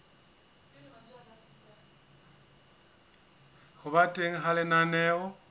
ho ba teng ha lenaneo